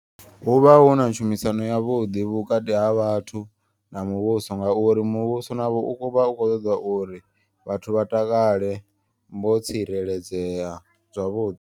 Huvha huna tshumisano ya vhuḓi vhukati ha vhathu na muvhuso. Ngauri muvhuso navho uvha ukho ṱoda uri vhathu vha takale vho tsireledzea zwavhuḓi.